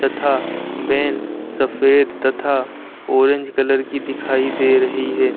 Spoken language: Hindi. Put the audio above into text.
था वैन सफेद तथा ऑरेंज कलर की दिखाई दे रही है।